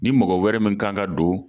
Ni mɔgɔ wɛrɛ min kan ka don